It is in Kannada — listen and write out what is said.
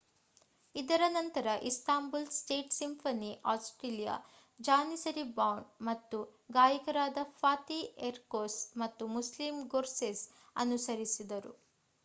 ಇದರ ನಂತರ Istanbul state symphony orchestra Janissary band ಮತ್ತು ಗಾಯಕರಾದ ಫಾತಿಹ್ ಎರ್ಕೊಸ್ ಮತ್ತು ಮುಸ್ಲೀಮ್ ಗೊರ್ಸೆಸ್ ಅನುಸರಿಸಿದರು